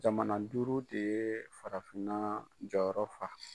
Jamana duuru de ye farafinna jɔyɔrɔ fa.